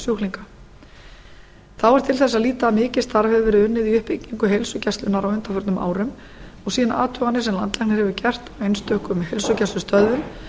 sjúklinga þá er til þess að líta að mikið starf hefur verið unnið í uppbyggingu heilsugæslunnar á undanförnum árum og sýna athuganir sem landlæknir hefur gert á einstökum heilsugæslustöðvum